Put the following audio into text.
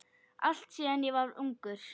allt síðan ég var ungur.